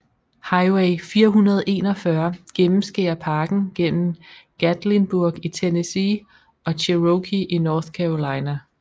Highway 441 gennemskærer parken mellem Gatlinburg i Tennessee og Cherokee i North Carolina